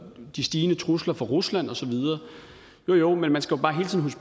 de stigende trusler fra rusland og så videre jo jo men man skal bare hele tiden